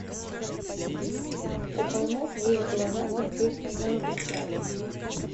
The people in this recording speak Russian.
у холмов есть глаза смотреть онлайн бесплатно